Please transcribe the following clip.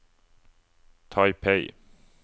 Taipei